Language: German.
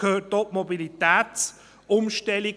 Dazu gehört auch die Mobilitätsumstellung.